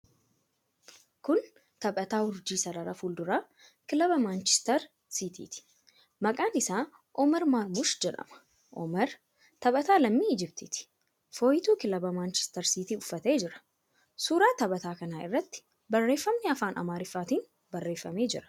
Kun taphataa urjii sarara fuulduraa kilabii Maanchister Siitiiti. Maqaan isaa Omar Maarmush jedhama. Omar taphataa lammii Ijiptiiti. Fooyituu kilabii Manchiistar Siitii uffatee jira. Suuraa taphataa kanaa irratti barreeffamni afaan Amaaraatiin barreeffamee jira.